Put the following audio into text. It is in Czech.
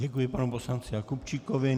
Děkuji panu poslanci Jakubčíkovi.